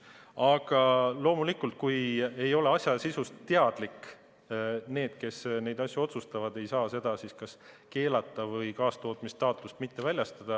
Aga loomulikult, kui need, kes neid asju otsustavad, ei ole asja sisust teadlikud, ei saa nad seda keelata või kaastootmisstaatust mitte väljastada.